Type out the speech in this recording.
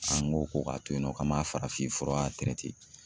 An ko ko k'a to yen nɔ k'an m'a farafin fura